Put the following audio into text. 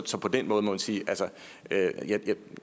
så på den måde må man sige at det